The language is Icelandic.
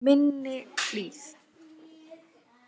Minni Hlíð